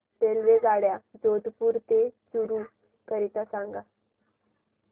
रेल्वेगाड्या जोधपुर ते चूरू करीता सांगा